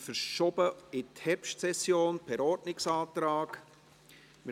das Traktandum 82 haben wir per Ordnungsantrag in die Herbstsession verschoben.